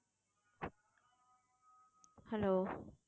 hello